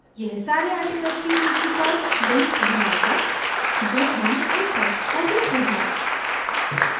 यह सारे articles की सूची पर links बनाएगा जो हम इन tags को देते हैं